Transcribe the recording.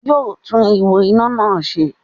Yóò tún ihò iná náà se